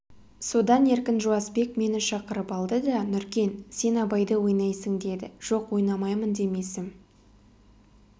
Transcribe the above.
содан еркін жуасбек мені шақырып алды да нұркен сен абайды ойнайсың деді жоқ ойнамаймын демесім